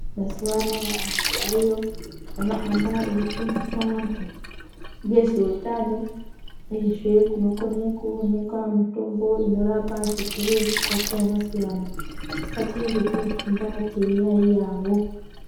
Mazuva antu ariyo anohamba eifundisa antu ngezveutano uyezve kunokone kuonekwa mitombo inorapa zvirwere zvakasiyana-siyana. Ngatiende toofunda, teiyaiyawo.